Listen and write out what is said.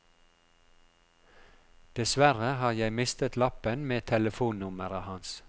Dessverre har jeg mistet lappen med telefonnummeret hans.